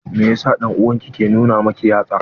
Mai yasa dan'uwan ki ke nuna miki yatsa?